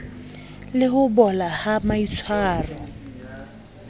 le ho bola ha maitshwaro